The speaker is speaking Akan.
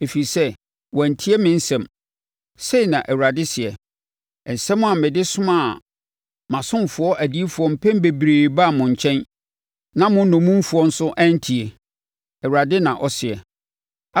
Ɛfiri sɛ, wɔantie me nsɛm,” sei na Awurade seɛ, “nsɛm a mede somaa mʼasomfoɔ adiyifoɔ mpɛn bebree baa mo nkyɛn. Na mo nnommumfoɔ nso antie,” Awurade na ɔseɛ.